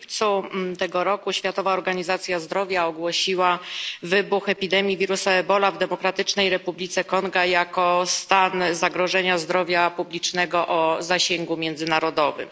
W lipcu tego roku Światowa Organizacja Zdrowia ogłosiła wybuch epidemii wirusa Ebola w Demokratycznej Republice Konga jako stan zagrożenia zdrowia publicznego o zasięgu międzynarodowym.